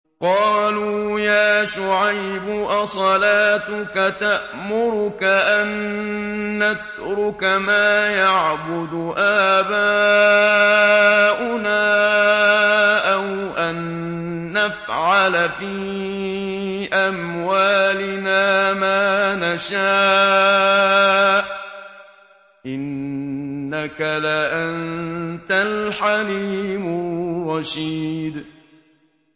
قَالُوا يَا شُعَيْبُ أَصَلَاتُكَ تَأْمُرُكَ أَن نَّتْرُكَ مَا يَعْبُدُ آبَاؤُنَا أَوْ أَن نَّفْعَلَ فِي أَمْوَالِنَا مَا نَشَاءُ ۖ إِنَّكَ لَأَنتَ الْحَلِيمُ الرَّشِيدُ